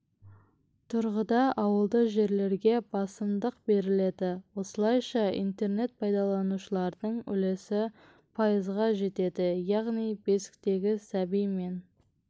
тұрғыда ауылды жерлерге басымдық беріледі осылайша интернет пайдаланушылардың үлесі пайызға жетеді яғни бесіктегі сәби мен